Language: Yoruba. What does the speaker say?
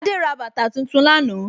Adé ra bàtà tuntun lánàá